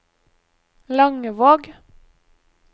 Langevåg